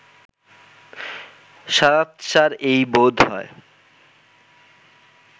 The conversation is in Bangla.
সারাৎসার এই বোধ হয়